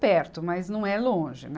perto, mas não é longe, né.